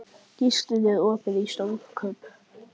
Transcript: Gíslunn, er opið í Stórkaup?